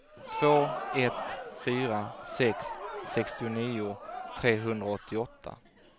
två ett fyra sex sextionio trehundraåttioåtta